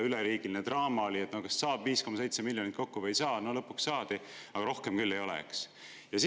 Üleriigiline draama oli, kas saab 5,7 miljonit kokku või ei saa, no lõpuks saadi, aga rohkem küll ei ole, eks.